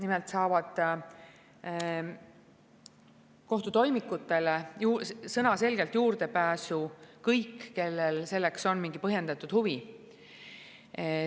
Nimelt saavad kohtutoimikutele sõnaselgelt juurdepääsu kõik, kellel selleks on mingi põhjendatud huvi.